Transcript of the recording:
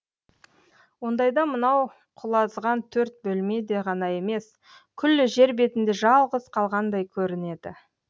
ондайда мынау құлазыған төрт бөлме де ғана емес күллі жер бетінде жалғыз қалғандай көрі неді